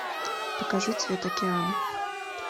покажи цвет океана